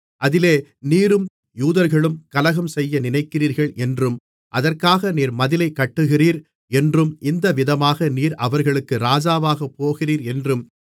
அதிலே நீரும் யூதர்களும் கலகம்செய்ய நினைக்கிறீர்கள் என்றும் அதற்காக நீர் மதிலைக் கட்டுகிறீர் என்றும் இந்த விதமாக நீர் அவர்களுக்கு ராஜாவாகப் போகிறீர் என்றும்